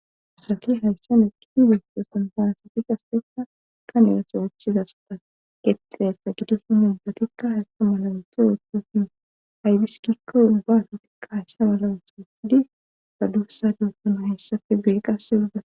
Asaraki hayssan eki i beestosonpanasati qasteka kanirosa ochizasa ta qeqeassa gidosuhundatikka haysqa mala wunto ooththosin haybiskikko ubba asatikka hayssa mala wushaasidi badusa duotona hessafe beye qassedda.